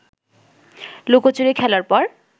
লুকোচুরি খেলার পর